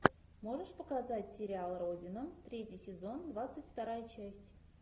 можешь показать сериал родина третий сезон двадцать вторая часть